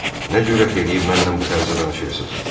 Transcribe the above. Nə cürət eləyib məndən bu tərzdə danışırsız?